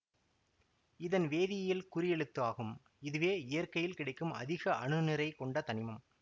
இதன் வேதியியல் குறியெழுத்து ஆகும் இதுவே இயற்கையில் கிடைக்கும் அதிக அணுநிறை கொண்ட தனிமம்